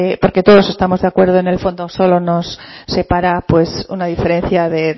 porque todos estamos de acuerdo en el fondo solo nos separa una diferencia de